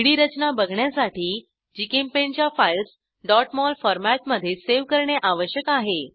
3Dरचना बघण्यासाठी जीचेम्पेंट च्या files mol फॉरमॅटमधे सेव्ह करणे आवश्यक आहे